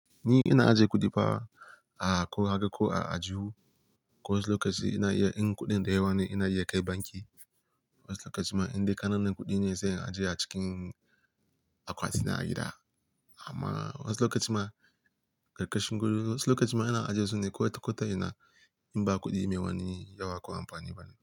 Ni ina ajiye kuɗi fa a ko haka ko a ajihu. Wasu lokaci ina iya in kuɗin da yawa ne ina iya kai banki, wasu lokaci ma indai ƙananan kuɗi ne sai in ajiye a cikin akwati na a gida. Amma wasu lokaci ma, ƙarƙashin gado wasu lokaci ma ina ajiye su ne kawai ta ko ta ina in ba kuɗi mai wani yawa ko amfani bane.